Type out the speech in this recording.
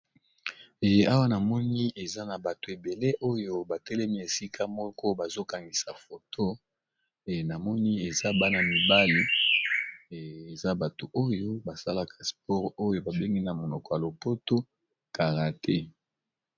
Ee awa namoni eza na bato ebele oyo batelemi esika moko bazo kangisa foto ee na moni eza bana mibali eza bato oyo ba salaka spore oyo ba bengi na monoko ya lopoto karate.